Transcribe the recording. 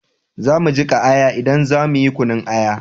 Za mu jika aya in za mu yi kunun aya